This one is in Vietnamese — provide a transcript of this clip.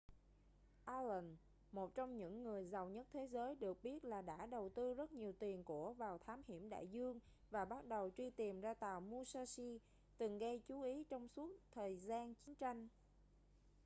allen một trong những người giàu nhất thế giới được biết là đã đầu tư rất nhiều tiền của vào thám hiểm đại dương và bắt đầu truy tìm ra tàu musashi từng gây chú ý trong suốt thời gian chiến tranh